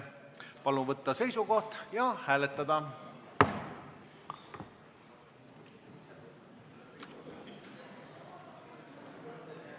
Palun võtta seisukoht ja hääletada!